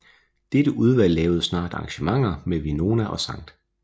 Dette udvalg lavede snart arrangementer med Winona og St